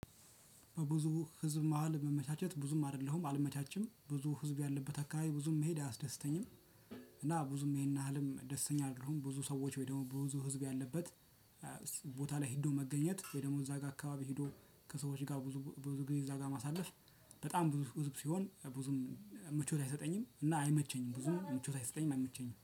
በብዙ ህዝብ መሃል መመቻቸት ብዙም አይደለሁም አልመቻችም ብዙ ህዝብ ያለበት አካባቢ ብዙም መሄድ አያስደስተኝም። እና ብዙም ይሄን ያህል ደስተኛ አደለሁም ብዙ ሰዎች ወይ ደግሞ ብዙ ህዝብ ያለበት። ቦታ ላይ ሄዶ መገኘት ወይ ደግሞ እዛ ጋር አካባቢ ሄዶ ከሰዎች ጋር ብዙ ብዙ ጊዜ እዛ ጋር ማሳለፍ በጣም ብዙ ህዝብ ሲሆን ብዙም ምቾት አይሰጠኝም። እና አይመቸኝም ብዙም ምቾት አይሰጠኝም አይመቸኝም